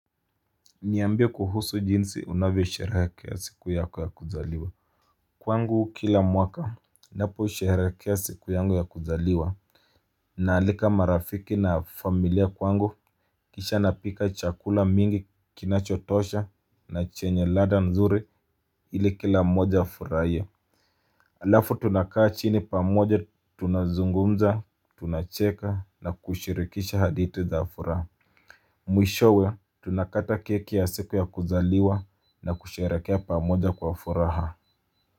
Niambie kuhusu jinsi unavyo sherehekea siku yako ya kuzaliwa Kwangu kila mwaka Napo sherehekea siku yangu ya kuzaliwa Naalika marafiki na familia kwangu kisha napika chakula mingi kinachotosha na chenye ladha nzuri ili kila mmoja afurahiye Alafu tunakaa chini pamoja tunazungumza tunacheka na kushirikisha hadithi za furaha Mwishowe tunakata keki ya siku ya kuzaliwa na kusherekea pamoja kwa furaha.